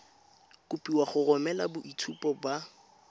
kopiwa go romela boitshupo ba